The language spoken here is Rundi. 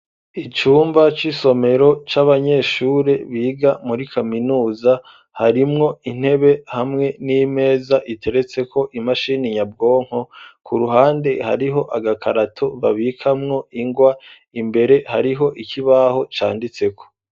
Icumba c'isomero c'abanyeshure biga muri kaminuza, harimwo intebe hamwe n'imeza iteretseko imashini nyabwonko, ku ruhande hariho agakarato babikamwo ingwa, imbere hariho ikibaho canditseko.